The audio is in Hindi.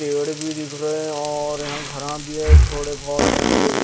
पेड़ बी दिख रे है और यहाँ ख़राब बी है थोड़े बहोत यहाँ पे --